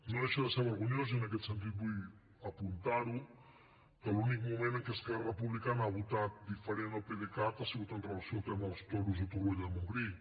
no deixa de ser vergonyós i en aquest sentit vull apuntar ho que l’únic moment en què esquerra republicana ha votat diferent al pdecat ha sigut amb relació al tema dels toros a torroella de montgrí